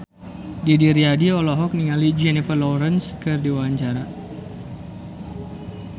Didi Riyadi olohok ningali Jennifer Lawrence keur diwawancara